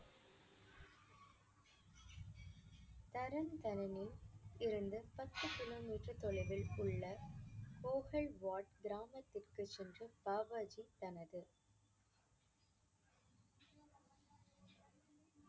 இருந்து பத்து கிலோமீட்டர் தொலைவில் உள்ள கிராமத்திற்கு சென்று பாபாஜி தனது